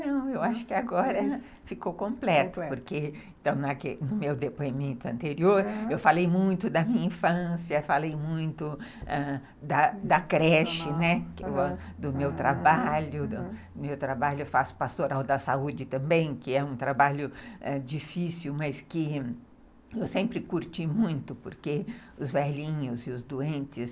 Não, eu acho que agora ficou completo, porque no meu depoimento anterior, eu falei muito da minha infância, falei muito da creche, né, do meu trabalho, do meu trabalho, eu faço pastoral da saúde também, que é um trabalho difícil, mas que eu sempre curti muito, porque os velhinhos e os doentes...